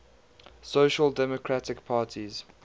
social democratic parties